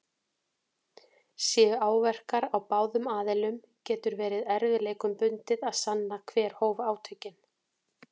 Séu áverkar á báðum aðilum getur verið erfiðleikum bundið að sanna hver hóf átökin.